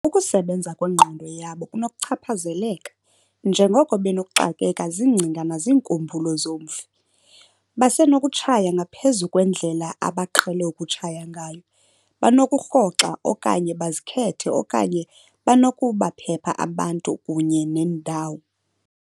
Ukusebenza kwengqondo yabo kunokuchaphazeleka, njengoko benokuxakeka ziingcinga naziinkumbulo zomfi. "Basenokutshaya ngaphezulu kwendlela abaqhele ukutshaya ngayo, banokurhoxa okanye bazikhethe okanye banokubaphepha abantu kunye neendawo."